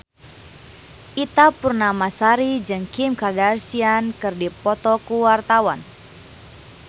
Ita Purnamasari jeung Kim Kardashian keur dipoto ku wartawan